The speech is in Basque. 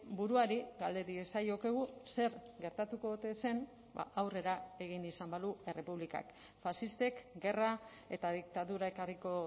buruari galde diezaiokegu zer gertatuko ote zen aurrera egin izan balu errepublikak faxistek gerra eta diktadura ekarriko